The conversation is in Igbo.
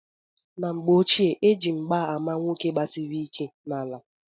N'mgbe ochie eji mgba ama nwoke gbasiri ike n'ala.